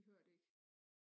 De hører det ikke